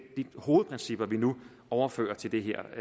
de hovedprincipper vi nu overfører til det her